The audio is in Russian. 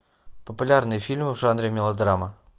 популярные фильмы в жанре мелодрама